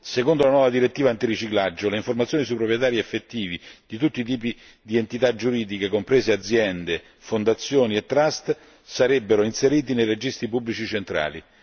Secondo la nuova direttiva antiriciclaggio le informazioni sui proprietari effettivi di tutti i tipi di entità giuridiche comprese aziende, fondazioni e trust sarebbero inseriti nei registri pubblici centrali.